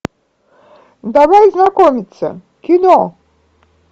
давай знакомиться кино